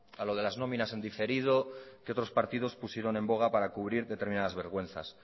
a lo de las nóminas en diferido que otros partidos pusieron en boga para cubrir determinadas vergüenzas